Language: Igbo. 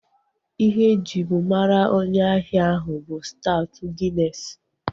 Ihe ejibu mara onye ahia ahu bụ staut ginesi